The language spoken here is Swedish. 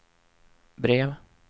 brev